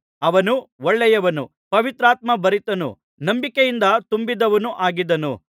ಅವನು ಒಳ್ಳೆಯವನೂ ಪವಿತ್ರಾತ್ಮ ಭರಿತನೂ ನಂಬಿಕೆಯಿಂದ ತುಂಬಿದವನೂ ಆಗಿದ್ದನು